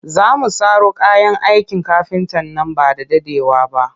Za mu saro kayan aikin kafinta nan ba da daɗewa ba